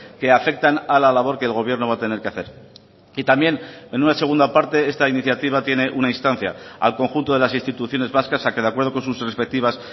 que afectan a la labor que el gobierno va a tener que hacer y también en una segunda parte esta iniciativa tiene una instancia al conjunto de las instituciones vascas a que de acuerdo con sus respectivas